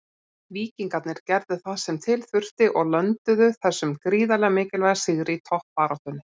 Víkingarnir gerðu það sem til þurfti og lönduðu þessum gríðarlega mikilvæga sigri í toppbaráttunni.